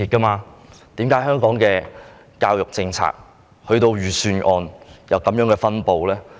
為何香港的教育政策及預算案作出這些安排？